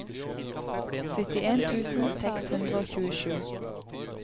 syttien tusen seks hundre og tjuesju